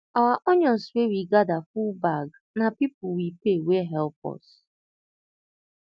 our onions wey we gather full bag na people we pay wey help us